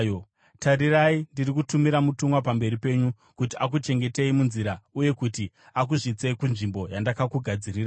“Tarirai, ndiri kutumira mutumwa pamberi penyu kuti akuchengetei munzira uye kuti akusvitsei kunzvimbo yandakakugadzirirai.